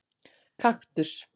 Kaktus